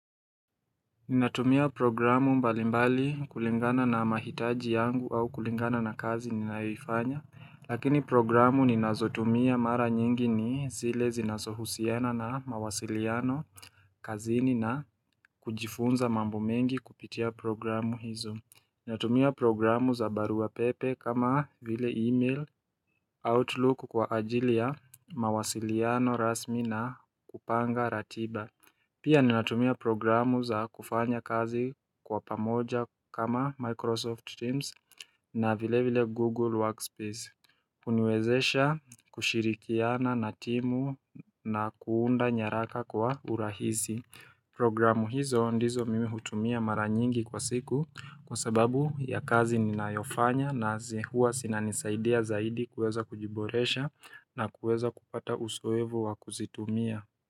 Ninatumia programu mbalimbali kulingana na mahitaji yangu au kulingana na kazi ninayoifanya Lakini programu ninazotumia mara nyingi ni zile zinasohusiana na mawasiliano kazini na kujifunza mambo mengi kupitia programu hizo Ninatumia programu za baru wa pepe kama vile email outlook kwa ajili ya mawasiliano rasmi na kupanga ratiba Pia ninatumia programu za kufanya kazi kwa pamoja kama Microsoft Teams na vile vile Google Workspace kuniwezesha kushirikiana na timu na kuunda nyaraka kwa urahisi Programu hizo ndizo mimi hutumia mara nyingi kwa siku kwa sababu ya kazi ninayofanya na hua zinanisaidia zaidi kueza kujiboresha na kueza kupata uzoevu wa kuzitumia.